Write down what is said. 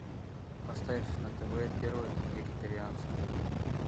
поставь на тв первый вегетарианский